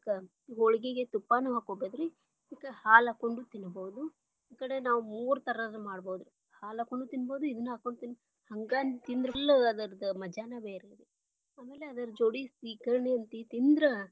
ಹೊಳಗಿಗೆ ತುಪ್ಪಾನು ಹಾಕೋಬಹುದು ರೀ. ಹಾಲ ಹಾಕೊಂಡು ತಿನ್ನಬಹುದು ಈ ಕಡೆ ನಾವು ಮೂರ ತರಹದ್ದು ಮಾಡಬಹುದು ರೀ ಹಾಲ ಹಾಕೊಂಡು ತಿನ್ನಬಹುದು ಇದನ್ನ ಹಾಕೊಂಡು ತಿನ್ಬಹುದ ಹಂಗ ತಿಂದ್ರಲ್ಲ ಅದರ ಮಜಾನ ಬೇರೆರೀ, ಆಮ್ಯಾಲೆ ಅದ್ರ ಜೋಡಿ ಸೀಕರ್ಣಿ ತಿಂದ್ರ.